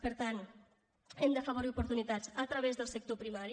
per tant hem d’afavorir oportunitats a través del sector primari